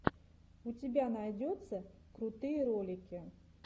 у тебя найдется крутые ролики